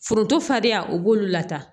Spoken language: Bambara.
Foronto fadenya o b'olu lata